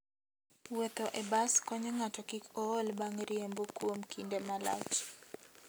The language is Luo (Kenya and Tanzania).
Wuotho e bas konyo ng'ato kik ool bang' riembo kuom kinde malach.